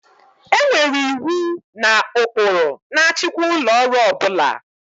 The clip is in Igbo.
E nwere iwu na ụkpụrụ na-achịkwa ụlọ ọrụ ọ bụla